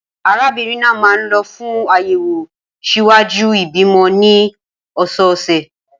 Arábìnrin náà máa ń lọ fún àyẹ̀wò ṣíwájú ìbímọ ní ọ̀sọ̀ọ̀sẹ̀.